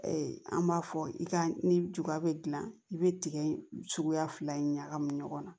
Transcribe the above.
an b'a fɔ i ka ni juguya bɛ gilan i be tiga in suguya fila in ɲagami ɲɔgɔn na